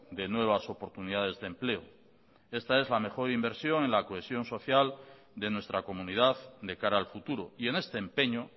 de nuevas oportunidades de empleo esta es la mejor inversión en la cohesión social de nuestra comunidad de cara al futuro y en este empeño